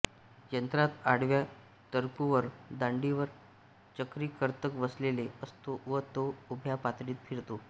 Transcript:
यंत्रात आडव्या तर्कूवर दांडीवर चक्री कर्तक बसविलेला असतो व तो उभ्या पातळीत फिरतो